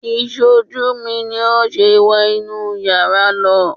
Ìṣojú mi ni ó ṣe wọ inú yàrá lọ